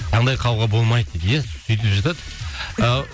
таңдай қағуға болмайды дейді иә сөйтіп жатады ыыы